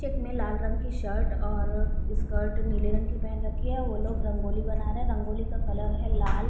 चिकने लाल रंग की शर्ट और स्कर्ट नीले रंग की पहन रखी है वो लोग रंगोली बना रहे है रंगोली का कलर है लाल --